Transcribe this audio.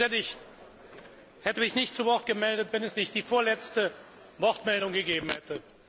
Ich hätte mich nicht zu Wort gemeldet, wenn es nicht die vorletzte Wortmeldung gegeben hätte.